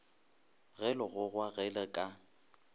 ge legogwa ge le ka